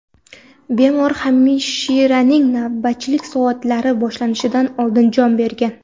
Bemor hamshiraning navbatchilik soatlari boshlanishidan oldin jon bergan.